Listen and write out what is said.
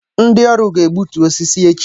Ndi-ọrụ ga-egbutu osisi echi